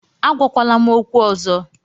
Agwakwala m okwu ọzọ